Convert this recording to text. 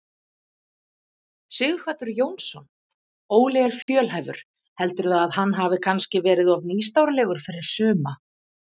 Sighvatur Jónsson: Óli er fjölhæfur, heldurðu að hann hafi kannski verið of nýstárlegur fyrir suma?